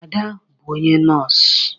Ada bụ onye nọs.